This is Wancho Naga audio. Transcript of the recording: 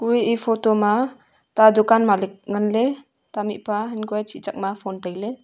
kue e photo ma ta dukan malik ngan ley ta mih pa han kua e chih chak ma phone tai ley.